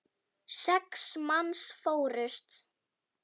Sex manns fórust.